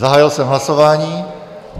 Zahájil jsem hlasování.